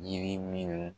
Yiri minnu